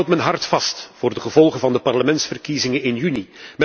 Ik houd mijn hart vast voor de gevolgen van de parlementsverkiezingen in juni.